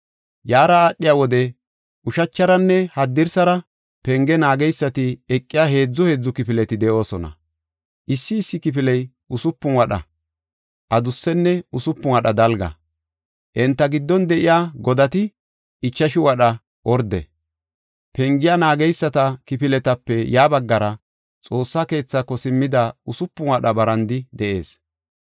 Yaara aadhiya wode ushacharanne haddirsara penge naageysati eqiya heedzu heedzu kifileti de7oosona. Issi issi kifiley usupun wadha adussenne usupun wadha dalga. Enta giddon de7iya godati ichashu wadha orde. Pengiya naageysata kifiletape ya baggara, Xoossa keethako simmida usupun wadha barandi de7ees.